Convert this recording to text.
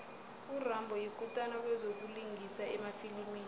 urambo yikutani kwezokulingisa emafilimini